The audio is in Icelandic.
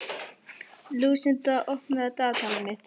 Lúsinda, opnaðu dagatalið mitt.